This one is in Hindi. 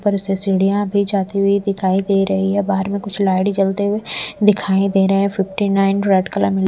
पर उसे सीढ़ियां भी जाती हुई दिखाई दे रही है बाहर में कुछ लाइट जलते हुए दिखाई दे रहे हैं फिफ्टी रेड कलर --